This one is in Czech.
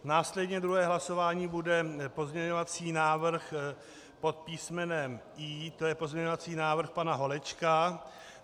Následně - druhé hlasování bude pozměňovací návrh pod písmenem I, to je pozměňovací návrh pana Holečka.